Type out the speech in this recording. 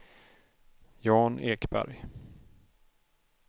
Jan Ekberg